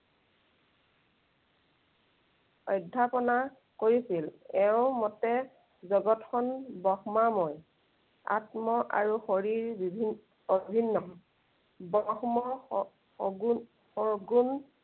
অধ্য়াপনা কৰিছিল। এওঁৰ মতে জগতখন ব্ৰহ্মাময়। আত্ম আৰু শৰীৰ বিভিন্ন, অভিন্ন। ব্ৰহ্মৰ শ~শগুণ